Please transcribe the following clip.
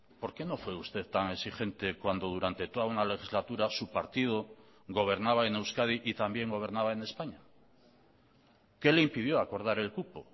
por qué no fue usted tan exigente cuando durante toda una legislatura su partido gobernaba en euskadi y también gobernaba en españa qué le impidió acordar el cupo